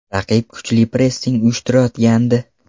Raqib kuchli pressing uyushtirayotgandi.